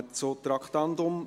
Wir kommen zum Traktandum 6.